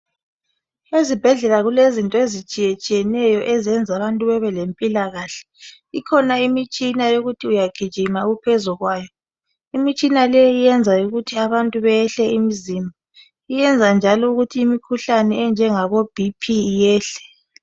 Ezibhedlela kulezinto ezitshiyetshiyeneyo ezenza abantu bebelempilakahle. Ikhona imitshina yokuthi uyagijima uphezukwayo. Imitshina leyi iyenza ukuthi abantu behle imizimba. Iyenza njalo ukuthi imikhuhlane enjengaboBP iyehle.